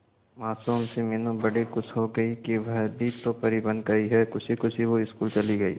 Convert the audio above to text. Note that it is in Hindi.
मासूम सी मीनू बड़ी खुश हो गई कि वह भी तो परी बन गई है खुशी खुशी वो स्कूल चली गई